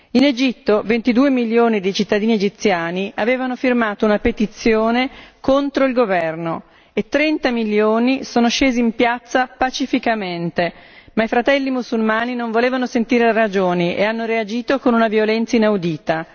In Egitto, 22 milioni di cittadini egiziani avevano firmato una petizione contro il governo e 30 milioni sono scesi in piazza pacificamente, ma i Fratelli mussulmani non volevano sentire ragioni e hanno reagito con una violenza inaudita.